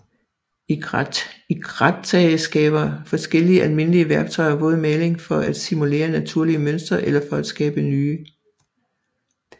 I grattage skraber forskellige almindelige værktøjer våd maling for at simulere naturlige mønstre eller for at skabe nye